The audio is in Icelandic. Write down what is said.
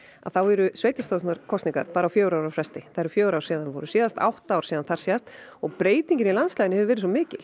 þá eru sveitarstjórnarkosningar bara á fjögurra ára fresti það eru fjögur ár síðan þær voru síðast átta ár síðan þar síðast og breytingin í landslaginu hefur verið svo mikil